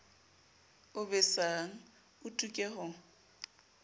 o besang o tuke ho